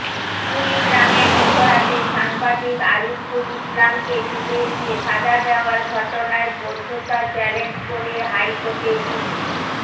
কুড়িগ্রামে মধ্যরাতে সাংবাদিক আরিফুল ইসলামকে তুলে নিয়ে সাজা দেওয়ার ঘটনায় বৈধতা চ্যালেঞ্জ করে হাইকোর্টে রিট